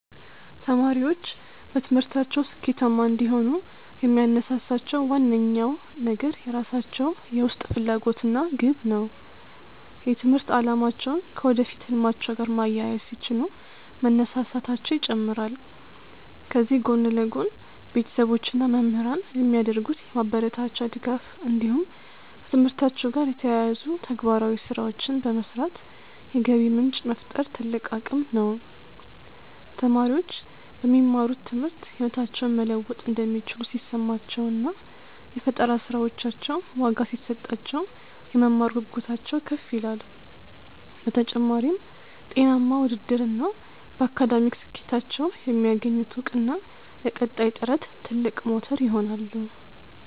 ተማሪዎች በትምህርታቸው ስኬታማ እንዲሆኑ የሚያነሳሳቸው ዋነኛው ነገር የራሳቸው የውስጥ ፍላጎት እና ግብ ነው። የትምህርት አላማቸውን ከወደፊት ህልማቸው ጋር ማያያዝ ሲችሉ መነሳሳታቸው ይጨምራል። ከዚህ ጎን ለጎን፣ ቤተሰቦች እና መምህራን የሚያደርጉት የማበረታቻ ድጋፍ እንዲሁም ከትምህርታቸው ጋር የተያያዙ ተግባራዊ ስራዎችን በመስራት የገቢ ምንጭ መፍጠር ትልቅ አቅም ነው። ተማሪዎች በሚማሩት ትምህርት ህይወታቸውን መለወጥ እንደሚችሉ ሲሰማቸው እና የፈጠራ ስራዎቻቸው ዋጋ ሲሰጣቸው፣ የመማር ጉጉታቸው ከፍ ይላል። በተጨማሪም፣ ጤናማ ውድድር እና በአካዳሚክ ስኬታቸው የሚያገኙት እውቅና ለቀጣይ ጥረት ትልቅ ሞተር ይሆናሉ።